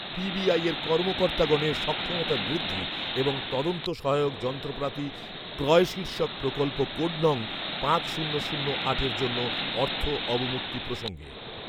PBI এর কর্মকর্তাগণের সক্ষমতা বৃদ্ধি এবং তদন্ত সহায়ক যন্ত্রপাতি ক্রয় শীর্ষক প্রকল্প কোড নং পাঁচ শূন্য শূন্য আটের জন্য অর্থ অবমুক্তি প্রসঙ্গে